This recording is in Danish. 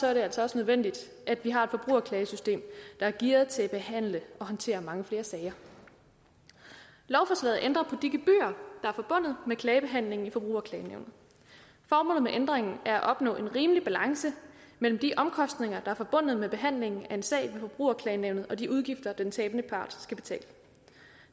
er det altså også nødvendigt at vi har et forbrugerklagesystem der er gearet til at behandle og håndtere mange flere sager lovforslaget ændrer på de gebyrer er forbundet med klagebehandlingen i forbrugerklagenævnet formålet med ændringen er at opnå en rimelig balance mellem de omkostninger der er forbundet med behandlingen af en sag ved forbrugerklagenævnet og de udgifter den tabende part skal betale